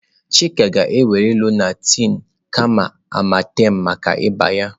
Chika ga-ewere Lonaatị kama Amartem maka ịba ya.